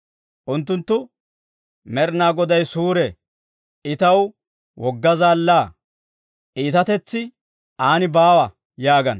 Unttunttu, «Med'inaa Goday suure; I taw wogga zaallaa; iitatetsi aan baawa» yaagana.